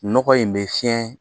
Nɔgɔ in bɛ fiyɛn